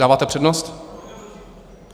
Dáváte přednost?